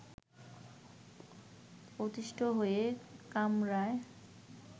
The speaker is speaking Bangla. অতিষ্ঠ হয়ে কামড়ায়